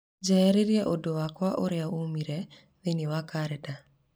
njehererie ũndũ wakwa ũria ũmĩrĩire thĩinĩ wa kalendarĩ